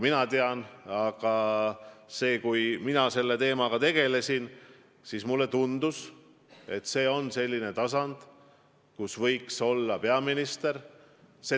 Ja kui mina selle teemaga tegelesin, siis mulle tundus, et tegu on tasandiga, kus võiks esindatud olla peaminister.